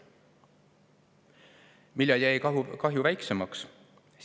Millal jäi kahju väiksemaks?